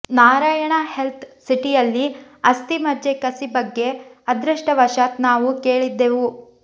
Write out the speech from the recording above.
Narayana health ಸಿಟಿಯಲ್ಲಿ ಅಸ್ಥಿ ಮಜ್ಜೆ ಕಸಿ ಬಗ್ಗೆ ಅದೃಷ್ಟವಶಾತ್ ನಾವು ಕೇಳಿದ್ದೆವು